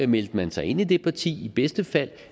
meldte mig sig ind i det parti i bedste fald